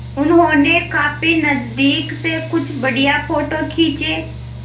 उन्होंने काफी नज़दीक से कुछ बढ़िया फ़ोटो खींचे